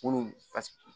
Olu fasigi